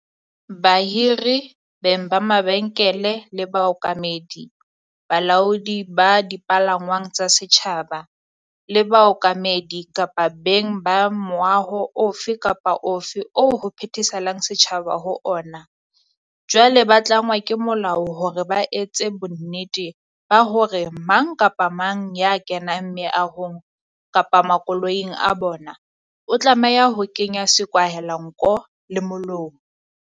Bahiri, beng ba mabenkele le baokamedi, balaodi ba dipalangwang tsa setjhaba, le baokamedi kapa beng ba moaho ofe kapa ofe oo ho phetheselang setjhaba ho ona, jwale ba tlangwa ke molao hore ba etse bonnete ba hore mang kapa mang ya kenang meahong kapa makoloing a bona, o tlameha ho kenya sekwahelanko le molomo.